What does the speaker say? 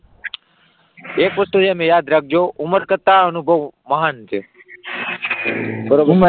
એક વસ્તુ તમે યાદ રાખજો ઉમર કરતાં અનુભવ મહાન છે બરાબર,